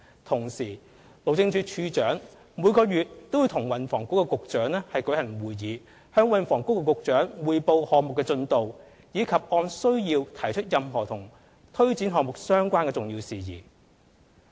同時，路政署署長每月與運輸及房屋局局長舉行會議，向運輸及房屋局局長匯報項目的進度，以及按需要提出任何與推展項目相關的重要事宜。